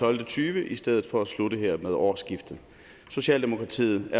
og tyve i stedet for at slutte her med årsskiftet socialdemokratiet